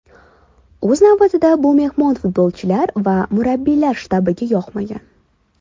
O‘z navbatida bu mehmon futbolchilar va murabbiylar shtabiga yoqmagan.